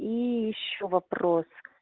и ещё вопрос